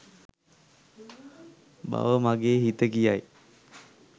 බව මගේ හිත කියයි.